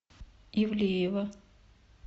ивлеева